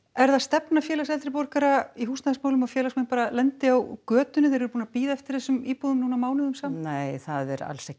er það stefna Félags eldri borgara í húsnæðismálum að félagsmenn lendi á götunni þeir eru búnir að bíða eftir þessum íbúðum mánuðum saman alls ekki